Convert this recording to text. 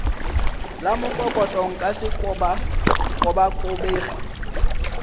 la mokokotlo nka se kobakobege